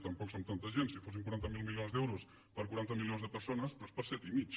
tampoc som tanta gent si fossin quaranta miler milions d’euros per a quaranta milions de persones però és per a set i mig